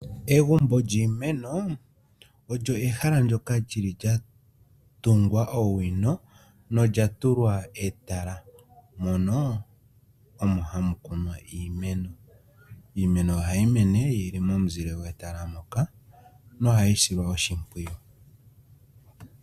Eegumbo lyiimeno, olyo ehala ndyoka lyili lya tungwa owino nolyatulwa etala mono omo hamukuninwa iimeno. Iimeno ohayi mene yili momuzile gwetala moka nohayisilwa oshimpwiyu.